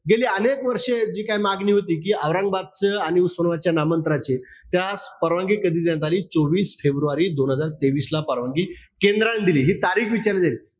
गेली अनेक वर्ष जे काय मागणी होती कि औरंगाबादचं आणि उस्मानाबादच्या नामांतराचे, त्यास परवानगी कधी देण्यात आली? चोवीस फेब्रुवारी दोन हजार तेवीसला परवानगी केंद्राने दिली. हि तारीख विचारली जाईल.